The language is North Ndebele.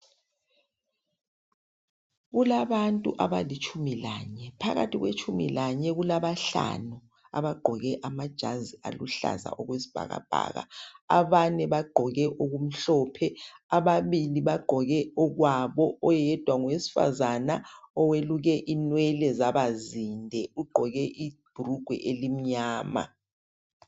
Kulabantu abalitshumi lanye phakathi kwabalitshumi lanye kulabahlanu abagqoke amajazi aluhlaza okwesibhakabhaka abanye bagqoke okumhlophe ababili bagqoke okwabo oyedwa ngowesifazana oweluke inwele zaba zinde ugqoke ibhulugwa elimnyama.